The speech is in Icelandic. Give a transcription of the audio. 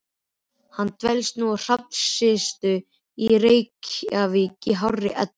Hann dvelst nú á Hrafnistu í Reykjavík í hárri elli.